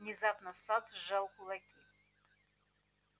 внезапно сатт сжал кулаки